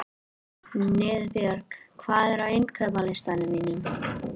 Niðbjörg, hvað er á innkaupalistanum mínum?